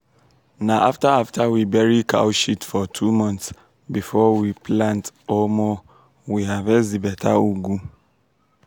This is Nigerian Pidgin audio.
na after after we bury cow shit for two months before we plant omo we harvest di beta ugu.